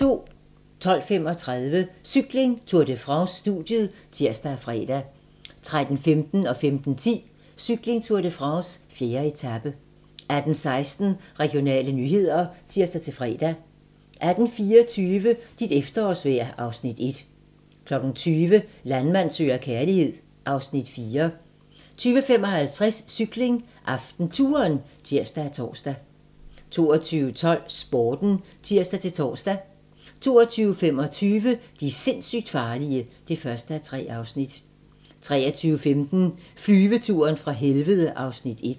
12:35: Cykling: Tour de France - studiet (tir og fre) 13:15: Cykling: Tour de France - 4. etape 15:10: Cykling: Tour de France - 4. etape 18:16: Regionale nyheder (tir-fre) 18:24: Dit efterårsvejr (Afs. 1) 20:00: Landmand søger kærlighed (Afs. 4) 20:55: Cykling: AftenTouren (tir og tor) 22:12: Sporten (tir-tor) 22:25: De sindssygt farlige (1:3) 23:15: Flyveturen fra helvede (Afs. 1)